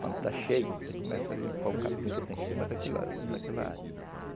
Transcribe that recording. Quando está cheio, você começa a limpar o capim que está em cima daquela área.